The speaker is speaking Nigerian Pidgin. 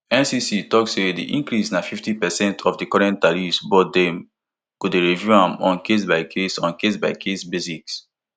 ncc tok say di increase na fifty percent of di current tariffs but dem go dey review am on casebycase on casebycase basis